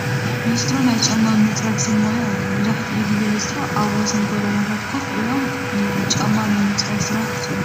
ሊስትሮ ኘይ ጫማ ምፅራግ ሰብ ሞያ እዮም፡፡ መብዛሕትኡ ግዜ ሊስትሮ ኣብ ወሰን ጎደናታት ኮፍ ኢሎም እዮም ጫማ ናይ ምፅራግ ስራሕ ዝሰርሑ፡፡